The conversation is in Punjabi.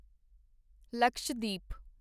ਲਕਸ਼ਦਵੀਪ